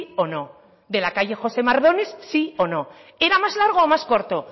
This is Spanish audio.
o no de la calle josé mardones sí o no era más largo o más corto